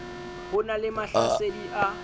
ho na le mahlasedi a